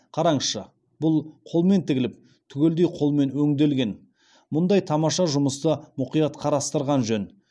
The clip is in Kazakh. қараңызшы бұл қолмен тігіліп түгелдей қолмен өңделген мұндай тамаша жұмысты мұқият қарастырған жөн